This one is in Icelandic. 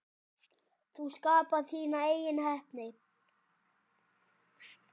Þú skapar þína eigin heppni.